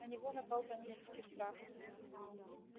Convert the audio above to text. на него напал панический страх